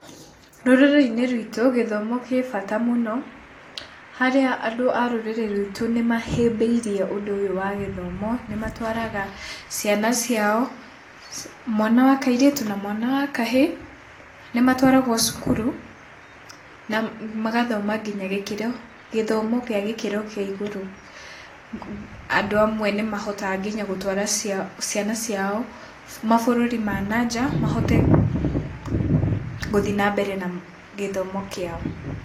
Rũrĩrĩ-inĩ rwitũ gĩthomo gĩ bata mũno, harĩa andũ a rũrĩrĩ rwitũ nĩmahĩmbĩirie ũndũ ũyũ wa gĩthomo. Nĩmatwaraga ciana ciao, mwana wa kairĩtu na wa kahĩ, nĩmatwaragwo cukuru magathoma nginya gĩthomo gĩa gĩkĩro kĩa igũrũ. Andũ amwe nĩmahotaga nginya gũtwara ciana ciao mabũrũri ma na nja mahote gũthiĩ na mbere na gĩthomo kĩao.